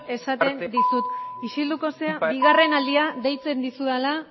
esaten dizut isilduko zara bigarren aldia deitzen dizudala